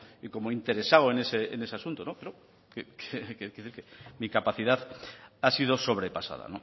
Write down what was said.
y como interesado en ese asunto pero mi capacidad ha sido sobrepasada